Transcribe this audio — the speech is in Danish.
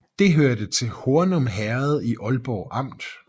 Det hørte til Hornum Herred i Ålborg Amt